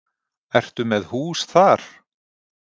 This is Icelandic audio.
Ertu með hús þar?